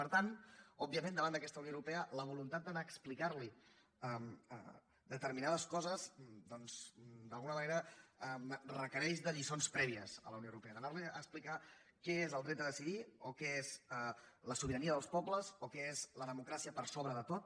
per tant òbviament davant d’aquesta unió europea la voluntat d’anar a explicar li determinades coses doncs d’alguna manera requereix lliçons prèvies a la unió europea d’anar li a explicar què és el dret a decidir o què és la sobirania dels pobles o què és la democràcia per sobre de tot